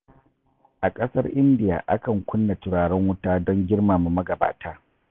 A ƙasar indiya akan kunna turaren wuta don girmama magabata